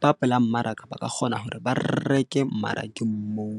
ba pela mmaraka, ba ka kgona hore ba reke mmarakeng moo.